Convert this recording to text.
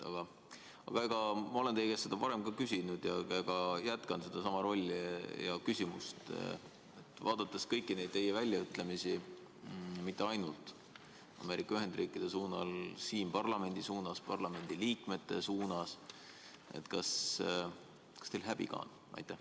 Ma olen seda teie käest ka varem küsinud ja jätkan: vaadates kõiki neid teie väljaütlemisi, mitte ainult Ameerika Ühendriikide suunas, vaid ka siin parlamendi suunas, parlamendi liikmete suunas – kas teil häbi ka on?